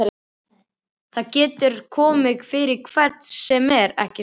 Það getur komið fyrir hvern sem er, ekki satt?